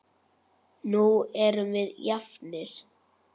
Nú erum við jafnir.